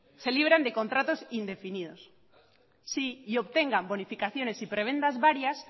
se libren de contratos indefinidos y obtengan bonificaciones y prebendas varias